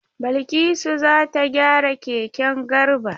Balkisu za ta gyara keken Garba.